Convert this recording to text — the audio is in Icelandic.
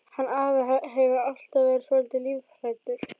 Hann afi hefur alltaf verið svolítið lífhræddur.